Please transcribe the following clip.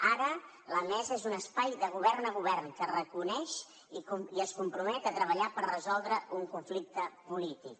ara la mesa és un espai de govern a govern que es reconeix i es compromet a treballar per resoldre un conflicte polític